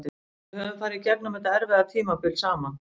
Við höfum farið í gegnum þetta erfiða tímabil saman.